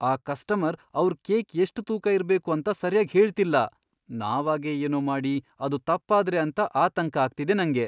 ಆ ಕಸ್ಟಮರ್ ಅವ್ರ್ ಕೇಕ್ ಎಷ್ಟ್ ತೂಕ ಇರ್ಬೇಕು ಅಂತ ಸರ್ಯಾಗ್ ಹೇಳ್ತಿಲ್ಲ. ನಾವಾಗೇ ಏನೋ ಮಾಡಿ ಅದು ತಪ್ಪಾದ್ರೆ ಅಂತ ಆತಂಕ ಆಗ್ತಿದೆ ನಂಗೆ.